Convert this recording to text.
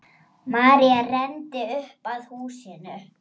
María renndi upp að húsinu.